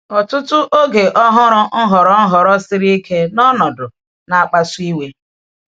Ọ̀tụtụ oge ọ hụrụ nhọrọ nhọrọ siri ike na ọnọdụ na-akpasu iwe.